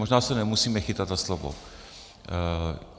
Možná se nemusíme chytat za slovo.